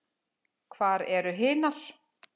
Hvar eru hinar?